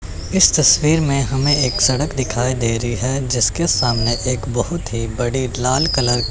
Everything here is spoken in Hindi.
इस तस्वीर में हमें एक सड़क दिखाई दे रही है जिसके सामने एक बहुत ही बड़ी लाल कलर --